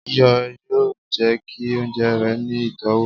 iyọ yóò jẹ ki ounjẹ rẹ ni itọwo.